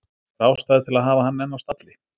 Er ástæða til að hafa hann enn á stalli?